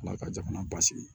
Ala ka jamana basigi